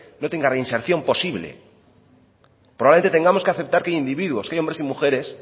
no tenga reinserción posible probablemente tengamos que aceptar que hay individuos que hay hombres y mujeres